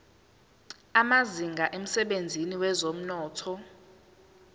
amazinga emsebenzini wezomnotho